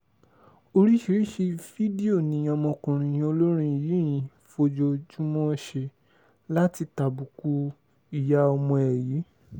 oríṣiríṣiì fídíò ni ọmọkùnrin olórin yìí ń fojoojúmọ́ ṣe láti tàbùkù ìyá ọmọ ẹ̀ yìí